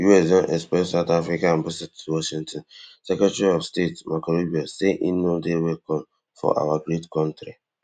US don expel south africa ambaset washington secretary of state marco rube say in no dey welcome for our great kontri